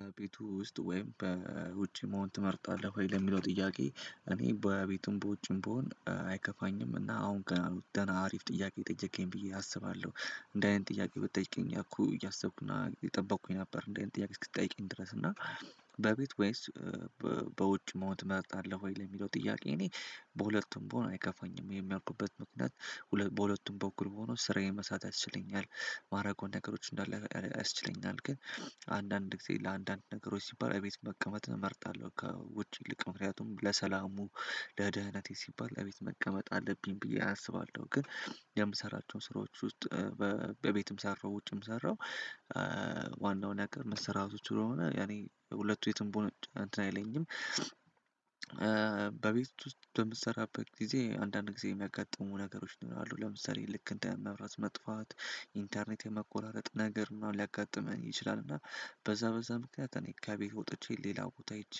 በቤት ውስጥ ወይም በውጭ መሆን ትመርጣለህ ወይ? ለሚለው ጥያቄ እኔ በቤትም በውጭም ብሆን አይከፋኝም። እና አሁን ገና አሪፍ ጥያቄ ጠየከኝ ብዬ አስባለሁ። እንዲህ አይነት ጥያቄ ብትጠይቀኝ እኮ እያሰብኩና እየጠበቅኩኝ ነበር እንዲህ አይነት ጥያቄ እስክትጠይቀኝ ድረስ እና በቤት ወይስ በውጭ መሆን ትመርጣለሁ ወይ? ለሚለው ጥያቄ እኔ በሁለቱም ብሆን አይከፋኝም። ይሄም ያልኩበት ምክንያት በሁለቱም በኩል ሆኖ ስራዬን መስራት ያስችለኛል። ማደርገውን ነገሮች እንዳለ ያስችለኛል። ግን አንዳንድ ጊዜ ለአንዳንድ ነገሮች ሲባል እቤት መቀመጥ እመርጣለሁ ከውጪ ይልቅ። ምክንያቱም ለሰላሙ ለደህንነቴ ሲባል እቤት መቀመጥ አለብኝ ብዬ አስባለሁ። ግን የምሰራቸውን ስራዎች ውስጥ በቤትም ሰራው ውጭም ሰራው ዋናውን ያቀርብ መሰራቱ ስለሆነ እኔ ሁለቱ የትም ብሆን አንተን አይለኝም። በቤት ውስጥ በምትሰራበት ጊዜ አንዳንድ ጊዜ የሚያጋጥሙ ነገሮች ይኖራሉ። ለምሳሌ ልክ እንደ መብራት መጥፋት፣ ኢንተርኔት የመቆራረጥ ነገር ምናምን ሊያጋጥመን ይችላል። እና በዛ በዛ ምክንያት እኔ ከቤት ወጥቼ ሌላው ቦታ ሂጄ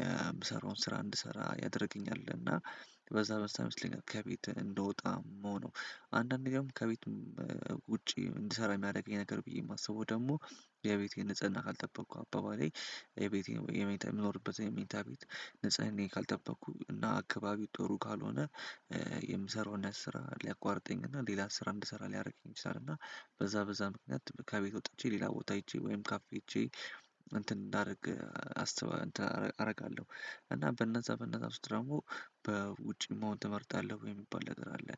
የምሰራውን ስራ እንድሰራ ያደርገኛል። እና በዛ በዛ መስለኝ ከቤት እንደወጣ ምሆነው። አንዳንዴ ደግሞ ከቤት ውጪ እንድሰራ የሚያደርገኝ ነገር ብዬ የማስበው ደግሞ የቤቴን ንጽህና ካልጠበቅኩ፤ አባባሌ የቤቴን የመኝታ የምኖርበት የመኝታ ቤት ንጽህናየን ካልጠበኩ እና አካባቢ ጥሩ ካልሆነ የምሰራውን ስራ ሊያቋርጠኝ እና ሌላ ስራ እንድሰራ ሊያደርግኝ ይችላል። እና በዛ በዛ ምክንያት ከቤት ወጥቸ ሌላ ቦታ ሄጄ ወይም ካፌ ሄጄ እንትን እንዳደርግ አስበው እንትን አደርጋለሁ። እና በእነዛ በእነዛ ውስጥ ደግሞ በውጪ መሆን ትመርጣለህ ወይ የሚባል ነገር አለ።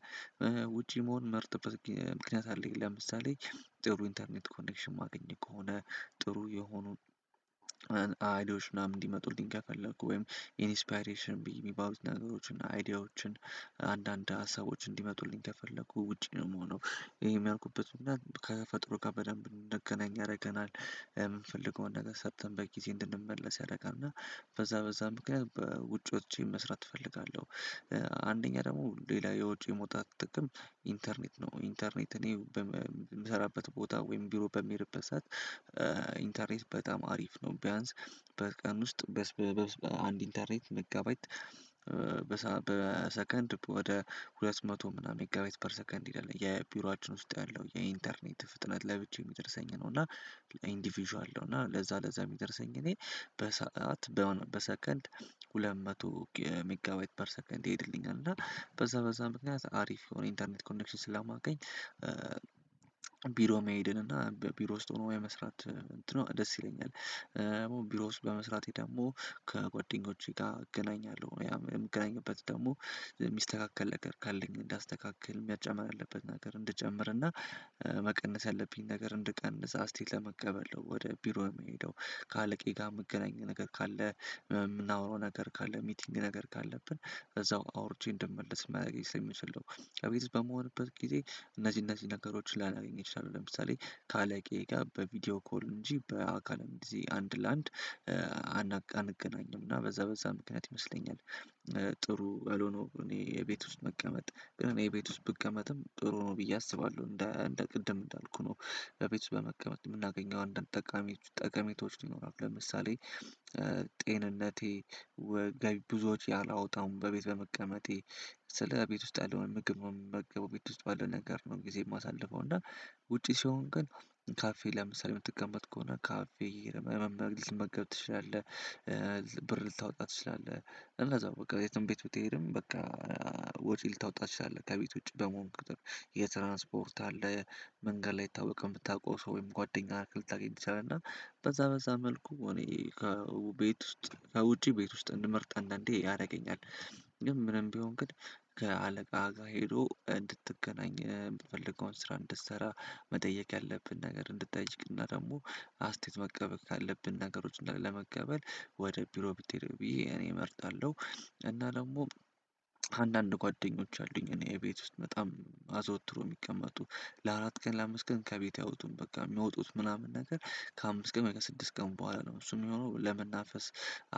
ውጪ መሆን ምመርጠበት ምክንያት አለኝ። ለምሳሌ ጥሩ ኢንተርኔት ኮኔክሽን የማገኝ ከሆነ፤ ጥሩ የሆኑ አይዲያዎች ምናምን እንዲመጡልኝ ከፈለኩ ወይም ኢንስፓይሬሽን ሚባሉት ነገሮችን፣ አይዲያዎችን፣ አንዳንድ ሀሳቦች እንዲመጡልኝ ከፈለኩ ውጪ ነው የምሆነው። ይሄም ያልኩበት ከፈጥሮ ከፈጠሩ ጋር በደንብ እንደገናኝ ያደርገናል። የምንፈልገውን ነገር ሰርተን በጊዜ እንድንመለስ ያደርጋል። እና በዛ በዛ ምክንያት በውጭ ውጥቼ መስራት እፈልጋለሁ። አንደኛ ደግሞ ሌላ የውጪ መውጣት ጥቅም ኢንተርኔት ነው። ኢንተርኔት እኔ የምሰራበት ቦታ ወይም ቢሮ በምሄድበት ሰዓት ኢንተርኔት በጣም አሪፍ ነው። ቢያንስ በቀን ውስጥ በአንድ ኢንተርኔት ሜጋባይት በሰከንድ ወደ ሁለት መቶ ምናምን ሜጋባይት ፐር ሰከንድ ይሄዳል። የቢሮአችን ውስጥ ያለው የኢንተርኔት ፍጥነት ለብቻ የሚደርሰኝ ነው። እና ኢንዲቪዥዋል ነው። እና ለዛ ለዛ የሚደርሰኝ እኔ በሰአት በሆነ በሰከንድ ሁለት መቶ ሜጋባይት ፐር ሰከንድ ይሄድልኛል። እና በዛ በዛ ምክንያት አሪፍ የሆነ ኢንተርኔት ኮኔክሽን ስለማገኝ ቢሮ መሄድን እና ቢሮ ውስጥ ሆኖ የመስራት እንትኑ ደስ ይለኛል። ቢሮ ውስጥ በመስራቴ ደግሞ ከጓደኞቼ ጋር እገናኛለሁ። ያው የምገናኝበት ደግሞ የሚስተካከል ነገር ካለኝ እንዳስተካክል መጨመር ያለበት ነገር እንድጨምርና መቀነስ ያለብኝ ነገር እንድቀንስ አስያየት ለመቀበል ነው ወደ ቢሮ የምሄደው። ከአለቃየ ጋር የምገናኘው ነገር ካለ የምናወራው ነገር ካለ ሚቲንግ ነገር ካለብን እዛው አውርቼ እንደምለስ ሊያደርገኝ ስለምችል ነው። በቤት በምሆንበት ጊዜ እነዚህ እነዚህ ነገሮች ላላገኝ እችላለሁ። ለምሳሌ ካለቃየ ጋር በቪዲዮ ኮል እንጂ በአካል እንደዚህ አንድ ለአንድ አንገናኝም። እና በዛ በዛ ምክንያት ይመስለኛል ጥሩ ያልሆነው እኔ የቤት ውስጥ መቀመጥ። ግን እኔ የቤት ውስጥ ብቀመጥም ጥሩ ነው ብዬ አስባለሁ። እንደ እንደ ቅድም እንዳልኩህ ነው። በቤት ውስጥ በመቀመጥ የምናገኘው አንዳንድ ጠቃሚ ጠቀሜታዎች ይኖራሉ። ለምሳሌ ጤንነቴ ገቢ ብዙዎች አላወጣውም በቤት በመቀመጤ። ስልህ ቤት ውስጥ ያለውን ምግብ ነው ምመገበው ቤት ውስጥ ባለው ነገር ነው ጊዜ የማሳልፈው። እና ውጪ ሲሆን ግን ካፌ ለምሳሌ የምትቀመጥ ከሆነ ካፌ ልትመገብ ትችላለህ። ብር ልታወጣ ትችላለህ። እንደዛው በቃ የትም ቤት ብትሄድም በቃ ወጪ ልታወጣ ትችላለህ። ከቤት ውጪ በመሆን ቁጥር የትራንስፖርት አለ፤ መንገድ ላይ አይታወቅም የምታውቀው ሰው ወይም ጓደኛ ልታገኝ ትችላለህ። እና በዛ በዛ መልኩ እኔ ከቤት ውስጥ ከውጪ ቤት ውስጥ እንድመርጥ አንዳንዴ ያደርገኛል። ምንም ቢሆን ግን ከአለቃ ጋር ሄዶ እንድትገናኝ የምትፈልገውን ስራ እንድትሰራ መጠየቅ ያለብን ነገር እንድትጠይቅና ደግሞ አስተያየት መቀበል ካለብን ነገሮችን ለመቀበል ወደ ቢሮ ብትሄድ ብዬ እኔ እመርጣለሁ። እና ደግሞ አንዳንድ ጓደኞች አሉኝ። እኔ የቤት ውስጥ በጣም አዘወትሮ የሚቀመጡ ለአራት ቀን ለአምስት ቀን ከቤቴ አውጡም። በቃ የሚወጡት ምናምን ነገር ከአምስት ቀን በኋላ ከስድስት ቀን በኋላ ነው። እሱም የሚሆነው ለመናፈስ፤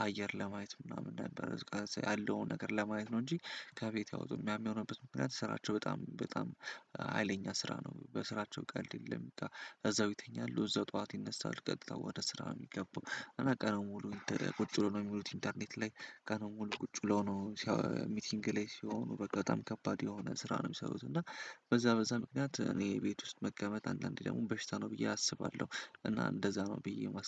አየር ለማየት ምናምን እንዳለ ያለውን ነገር ለማየት ነው እንጂ ከቤት አይወጡም። ያም የሆነበት ምክንያት ስራቸው በጣም በጣም ሀይለኛ ስራ ነው። በስራቸው ቀልድ የለም። እዛው ይተኛሉ እዛው ጠዋት ይነሳሉ። ቀጥታ ወደ ስራ ነው የሚገቡ። እና ቀኑን ሙሉ ቁጭ ብለው ነው የሚውሉት ኢንተርኔት ላይ ቀኑን ሙሉ ቁጭ ብለው ነው ሚቲንግ ላይ ሲሆኑ በጣም ከባድ የሆነ ስራ ነው የሚሰሩት። እና በዛ በዛ ምክንያት እኔ ቤት ውስጥ መቀመጥ አንዳንዴ ደግሞ በሽታ ነው ብዬ አስባለሁ። እና እንደዛ ነው ብዬ የማስበው።